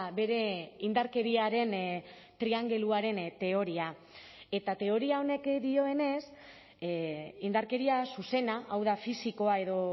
bere indarkeriaren triangeluaren teoria eta teoria honek dioenez indarkeria zuzena hau da fisikoa edo